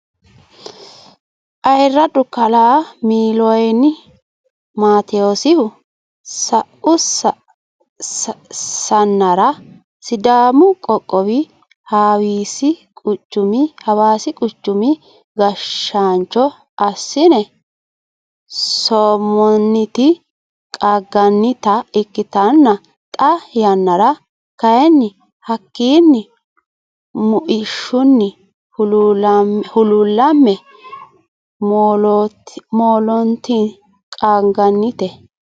Ayyiradu kala miliyooni matiwosihu sa'u sanarra sidaamu qoqowi hawassi quchumi gashaancho asine soomonniti qaanganitta ikkitenna xaa yanara kayini hakkinni mu'ishunni huluulame hooloniti qaanganite